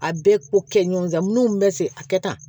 A bɛɛ ko kɛ ɲɔgɔn da minnu bɛ se a kɛ tan